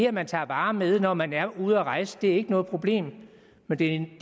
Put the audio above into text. at man tager varer med hjem når man er ude at rejse ikke er noget problem men det